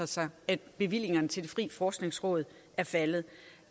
sig at bevillingerne til det frie forskningsråd er faldet